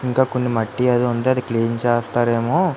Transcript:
ఇంకా కొని మట్టి అది ఉంటే అది క్లీన్ చేస్తారెమో.